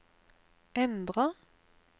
endra